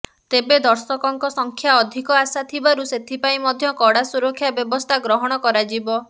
ତେବେ ଦର୍ଶକଙ୍କ ସଂଖ୍ୟା ଅଧିକ ଆଶା ଥିବାରୁ ସେଥିପାଇଁ ମଧ୍ୟ କଡା ସୁରକ୍ଷା ବ୍ୟବସ୍ଥା ଗ୍ରହଣ କରାଯିବ